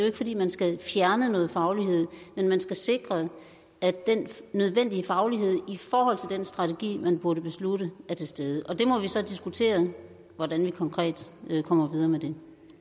ikke fordi man skal fjerne noget faglighed men man skal sikre at den nødvendige faglighed i forhold den strategi man måtte beslutte er til stede og der må vi så diskutere hvordan vi konkret kommer videre med det